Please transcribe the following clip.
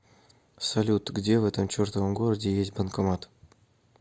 салют где в этом чертовом городе есть банкомат